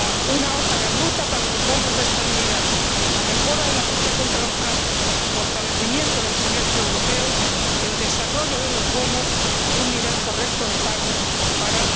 una hoja de ruta para los bonos de estabilidad, la mejora de la lucha contra el fraude, el fortalecimiento del semestre europeo, el desarrollo de los bonos y un nivel correcto de créditos de pago para